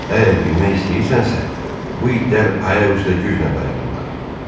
Əgər bilmək istəyirsənsə, bu itlər ayaq üstə güclə dayanırlar.